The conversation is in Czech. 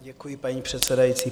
Děkuji, paní předsedající.